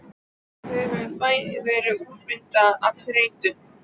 Þau höfðu bæði verið úrvinda af þreytu.